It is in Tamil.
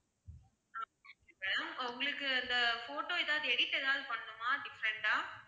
உங்களுக்கு அந்த photo எதாவது edit எதாவது பண்ணனுமா different ஆ